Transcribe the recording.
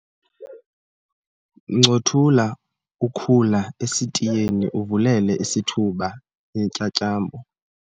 ncothula ukhula esitiyeni uvulele isithuba iintyatyambo